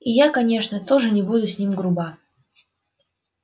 и я конечно тоже не буду с ним груба